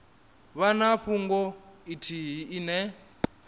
vha na fhungo ithihi ine